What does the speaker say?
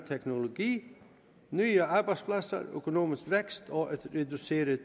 teknologi nye arbejdspladser økonomisk vækst og et reduceret